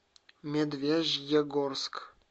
медвежьегорск